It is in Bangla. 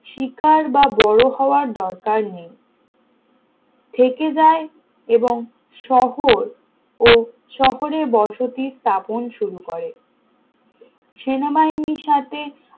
শিকার বা বড় হওয়ার দরকার নেই থেকে যায় এবং শহর ও শহরের বসতি স্থাপন শুরু করে সেনাবাহিনীর সাথে